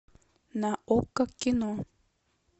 на окко кино